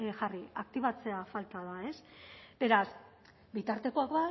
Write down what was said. jarri aktibatzea falta da ez beraz bitartekoak